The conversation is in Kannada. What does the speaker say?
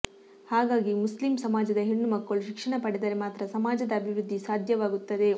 ಹಾಗಾಗಿ ಮುಸ್ಲಿಮ್ ಸಮಾಜದ ಹೆಣ್ಣು ಮಕ್ಕಳು ಶಿಕ್ಷಣ ಪಡೆದರೆ ಮಾತ್ರ ಸಮಾಜದ ಅಭಿವೃದ್ಧಿ ಸಾಧ್ಯವಾಗುತ್ತದೆ